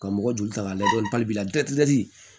Ka mɔgɔ joli ta ka lajɛ